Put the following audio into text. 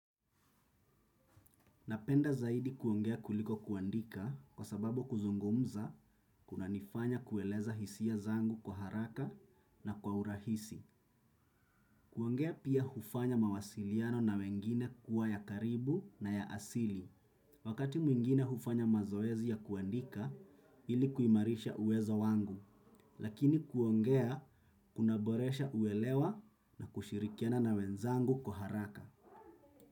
Napenda zaidi kuongea kuliko kuandika kwa sababu kuzungumza kuna nifanya kueleza hisia zangu kwa haraka na kwa urahisi. Kuongea pia hufanya mawasiliano na wengine kuwa ya karibu na ya asili. Wakati mwingine hufanya mazoezi ya kuandika ili kuimarisha uwezo wangu. Lakini kuongea kuna boresha uelewa na kushirikiana na wenzangu kwa haraka.